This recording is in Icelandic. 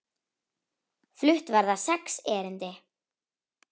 Flutt verða sex erindi.